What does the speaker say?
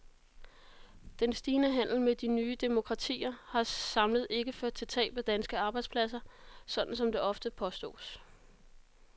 Den stigende handel med de nye demokratier har samlet ikke ført til tab af danske arbejdspladser, sådan som det ofte påstås.